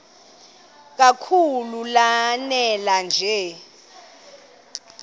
kakhulu lanela nje